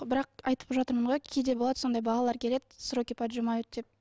бірақ айтып жатырмын ғой кейде болады сондай балалар келеді сроки поджимают деп